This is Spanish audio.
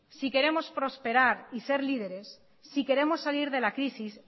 si queremos prosperar y ser líderes si queremos salir de la crisis